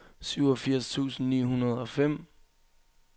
syvogfirs tusind ni hundrede og fem